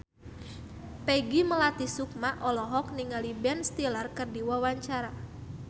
Peggy Melati Sukma olohok ningali Ben Stiller keur diwawancara